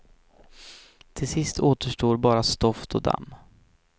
Till sist återstår bara stoft och damm.